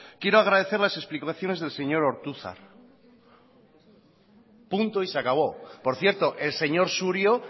quiero agradecer las explicaciones del señor ortuzar punto y se acabó por cierto el señor surio